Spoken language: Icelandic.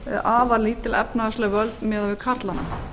afar lítil efnahagsleg völd miðað við karlana